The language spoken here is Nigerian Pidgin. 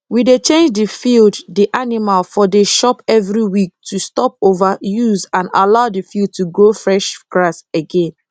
we dey change d field d animal for dey chop every week to stop over use and allow d field to grow fresh grass again